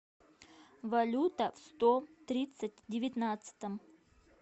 валюта в сто тридцать девятнадцатом